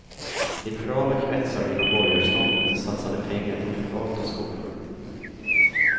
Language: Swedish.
Liberala kretsar inom borgarståndet satsade pengar på privata skolor.